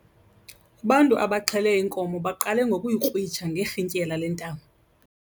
Ubantu abaxhele inkomo baqale ngokuyikrwitsha ngerhintyela lentambo.